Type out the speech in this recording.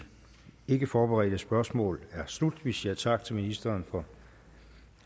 ikkeforberedte spørgsmål er slut vi siger tak til ministeren for